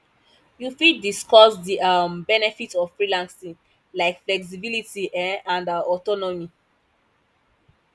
you fit discuss di um benefits of freelancing like flexibility um and autonomy